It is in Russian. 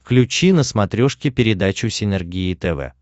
включи на смотрешке передачу синергия тв